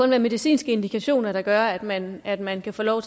være medicinske indikationer der gør at man at man kan få lov